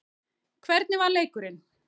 Hvernig var leikurinn?